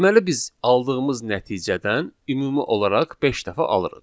Deməli biz aldığımız nəticədən ümumi olaraq beş dəfə alırıq.